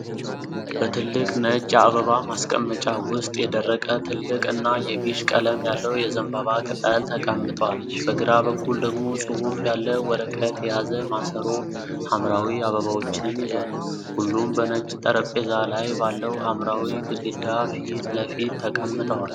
በትልቅ ነጭ የአበባ ማስቀመጫ ውስጥ የደረቀ፣ ትልቅ እና የቢዥ ቀለም ያለው የዘንባባ ቅጠል ተቀምጧል። በግራ በኩል ደግሞ ጽሑፍ ያለው ወረቀት የያዘ ማሰሮ ሐምራዊ አበባዎችን ይዟል፤ ሁሉም በነጭ ጠረጴዛ ላይ ባለው ሐምራዊ ግድግዳ ፊት ለፊት ተቀምጠዋል።